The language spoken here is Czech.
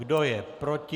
Kdo je proti?